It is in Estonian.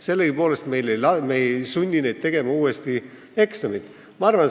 Sellegipoolest ei sunni me neid uuesti eksamit tegema.